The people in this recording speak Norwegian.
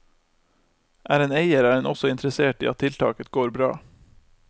Er en eier, er en også interessert i at tiltaket går bra.